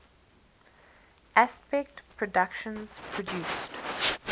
aspect productions produced